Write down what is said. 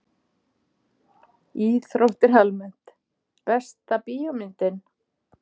Íþróttir almennt Besta bíómyndin?